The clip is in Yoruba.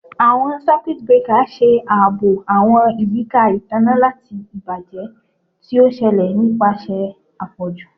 Awọn Circuit breaker ṣe aabo awọn iyika itanna lati ibajẹ ti o ṣẹlẹ nipasẹ apọju